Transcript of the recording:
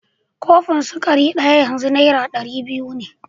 Kofin sukari ɗaya yanzu Naira ɗari biyu ne